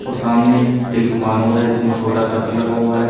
और सामने एक दुकान और है जिसमें छोटा शटर लगा हुआ है।